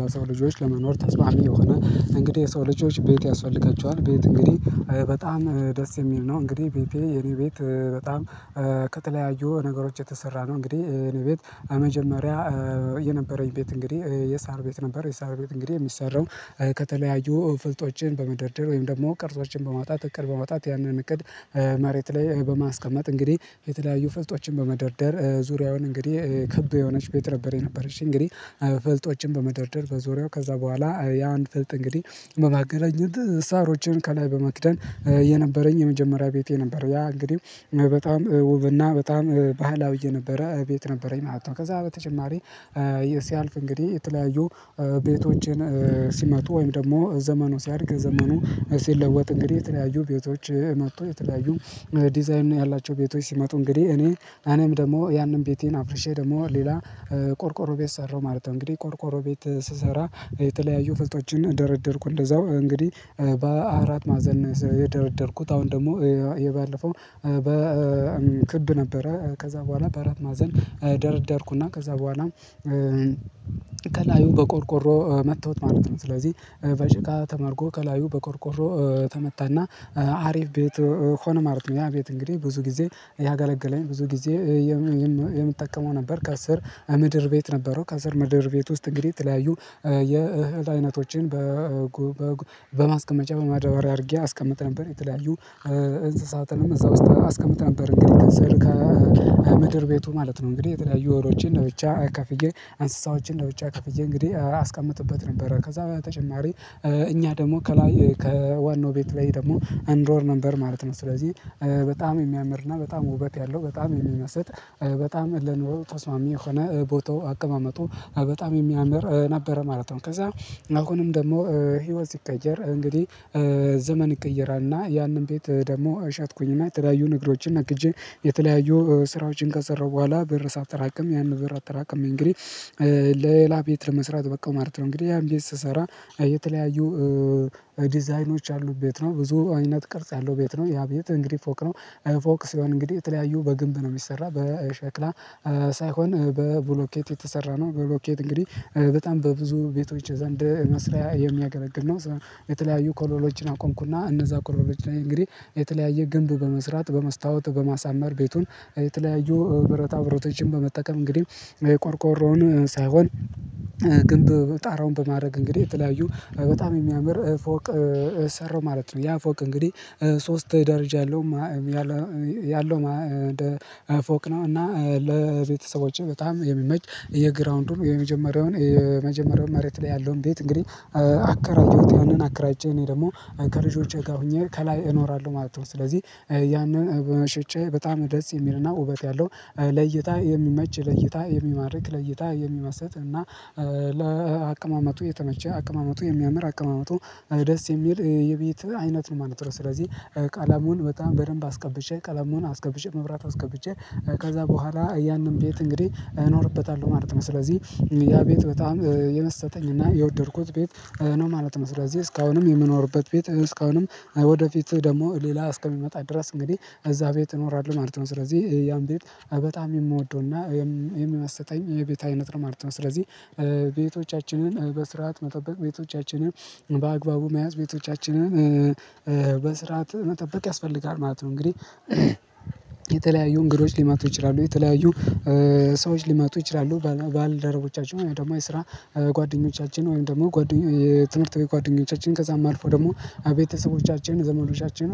ለሰው ልጆች ለመኖር ተስፋሚ የሆነ እንግዲህ የሰው ልጆች ቤት ያስፈልጋቸዋል ቤት እንግዲህ በጣም ደስ የሚል ነው እንግዲህ ቤቴ የኔ ቤት በጣም ከተለያዩ ነገሮች የተሰራ ነው እንግዲህ የኔ ቤት በመጀመሪያ የነበረኝ ቤት እንግዲህ የሳር ቤት ነበር የሳር ቤት እንግዲህ የሚሰራው ከተለያዩ ፍልጦችን በመደርደር ወይም ደግሞ ቅርጾችን በማውጣት እቅድ በማውጣት ያንን እቅድ መሬት ላይ በማስቀመጥ እንግዲህ የተለያዩ ፍልጦችን በመደርደር ዙሪያውን እንግዲህ ክብ የሆነች ቤት ነበሬ ነበር እሺ እንግዲህ ፍልጦችን በመደርደር በዙሪያው ከዛ በኋላ ያ አንድ ፍልጥ እንግዲህ በማገናኘት ሳሮችን ከላይ በማክደን የነበረኝ የመጀመሪያ ቤቴ ነበር ያ እንግዲህ በጣም ውብና በጣም ባህላዊ የነበረ ቤት ነበረኝ። ማለት ነው ከዛ በተጨማሪ ይሄስያልፍ እንግዲህ የተለያዩ ቤቶችን ሲመጡ ወይም ደግሞ ዘመኑ ሲያድግ ዘመኑ ሲለወጥ እንግዲህ የተለያዩ ቤቶች መጥቶ የተለያዩ ዲዛይን ያላቸው ቤቶች ሲመጡ እንግዲህ እኔ እነም ደግሞ ያንን ቤቴን አፍሪሼ ደግሞ ሌላ ቆርቆሮ ቤት ሠራሁ ማለት ነው እንግዲህ ቆርቆሮ ቤት ስሰራ የተለያዩ ፍልጦችን ደረደርኩ እንደዛው እንግዲህ በአራት ማዕዘን የደረደርኩት አሁን ደግሞ የባለፈው በክብ ነበረ ከዛ በኋላ በረት ማዘን ደርደርኩና ከዛ በኋላ ከላዩ በቆርቆሮ መጥተውት ማለት ነው ስለዚህ በሽቃ ተመርጎ ከላዩ በቆርቆሮ ተመታና አሪፍ ቤት ሆኖ ማለት ነው ያ ቤት እንግዲህ ብዙ ጊዜ ያገለገለኝ ብዙ ጊዜ የምትጠቀመው ነበር ከስር ምድር ቤት ነበረው ከሥር ምድር ቤት ውስጥ እንግዲህ የተለያዩ የእህል አይነቶችን በማስቀመጫ በማዳበሪያ አርጌ አስቀምጥ ነበር የተለያዩ እንስሳትንም እዛ ውስጥ አስቀምጥ ነበር እንግዲህ ከሰር ከምድር ቤቱ ማለት ነው እንግዲህ የተለያዩ ወሮችን እንደ ብቻ አካፍዬ እንስሳዎችን ለውጫ ከፍዬ እንግዲህ አስቀምጥበት ነበረ ከዛ በተጨማሪ እኛ ደግሞ ከላይ ከዋናው ቤት ላይ ደግሞ አንድ ወር ነበር ማለት ነው ስለዚህ በጣም የሚያምርና በጣም ውበት ያለው በጣም የሚመስጥ በጣም ለኑሮ ተስማሚ የሆነ ቦታው አቀማመጡ በጣም የሚያምር ነበረ ማለት ነው ከዛ አሁንም ደግሞ ህይወት ስቀየር እንግዲህ ዘመን ይቀየራልና ያንን ቤት ደግሞ ሸጥኩኝና የተለያዩ ንግዶችን ነግጄ የተለያዩ ስራዎችን ከሰራሁ በኋላ ብር ሳጠራቅም ያንን ብር አጠራቅሜ እንግዲህ ሌላ ቤት ለመስራት በቃው ማለት ነው እንግዲህ ያም ቤት ስሰራ የተለያዩ ዲዛይኖች ያሉ ቤት ነው ብዙ አይነት ቅርጽ ያለው ቤት ነው ያ ቤት እንግዲህ ፎቅ ነው ፎቅ ሲሆን እንግዲህ የተለያዩ በግንብ ነው የሚሰራው በሸክላ ሳይሆን በብሎኬት የተሰራ ነው በብሎኬት እንግዲህ በጣም በብዙ ቤቶች ዘንድ መስሪያ የሚያገለግል ነው የተለያዩ ኮለኖችን አቆምኩና እነዛ ኮለኖች እንግዲህ የተለያየ ግንብ በመስራት በመስታወት በማሳመር ቤቱን የተለያዩ ብረታ ብረታችን በመጠቀም እንግዲህ ቆርቆሮውን ሳይሆን ግንብ በጣራውን በማድረግ እንግዲህ የተለያዩ በጣም የሚያምር ፎቅ ሰራው ማለት ነው ያ ፎቅ እንግዲህ ሶስት ደረጃ ያለው ያለው ፎቅ ነው እና ለቤተሰቦቼ በጣም የሚመች የግራውንዱን የመጀመሪያውን የመጀመሪያውን መሬት ላይ ያለውን ቤት እንግዲህ አከራየሁት ያንን አከራይቼ እኔ ደግሞ ከልጆቼ ጋር ሆኜ ከላይ እኖራለሁ ማለት ነው ስለዚህ ያንን በመሽጨ በጣም ደስ የሚልና ውበት ያለው ለእይታ የሚመች ለእይታ የሚማርክ ለእይታ የሚመስጥ እና ለአቀማመጡ የተመቸ አቀማመጡ የሚያምር አቀማመጡ ደስ የሚል የቤት አይነት ነው ማለት ነው ስለዚህ ቀለሙን በጣም በደንብ አስቀብቼ ቀለሙን አስቀብጬ መብራት አስገብቼ ከዛ በኋላ ያንን ቤት እንግዲህ እኖርበታለሁ። ማለት ነው ስለዚህ ያ ቤት በጣም የመሰጠኝ እና የወደድኩት ቤት ነው ማለት ነው ስለዚህ እስካሁንም የምኖርበት ቤት እስካሁንም ወደፊት ደግሞ ሌላ እስከሚመጣ ድረስ እንግዲህ እዛ ቤት እኖራለሁ ማለት ነው ስለዚህ ያን ቤት በጣም የምወደውና የምመስጠኝ የቤት አይነት ማለት ነው ስለዚህ ቤቶቻችንን በስርዓት መጠበቅ ቤቶቻችንን በአግባቡ መያዝ ቤቶቻችንን በስራአት መጠበቅ ያስፈልጋል ማለት ነው እንግዲህ የተለያዩ እንግዶች ልመጡ ይችላሉ የተለያዩ ሰዎች ልማጡ ይችላሉ ባልደረቦቻችን ወይ ደግሞ የስራ ጓደኞቻችን ወይም ደግሞ ጓደኞች ትምህርት ቤት ጓደኞቻችን ከዛም አልፎ ደግሞ ቤተሰቦቻችን ዘመዶቻችን